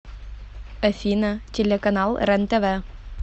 афина телеканал рентв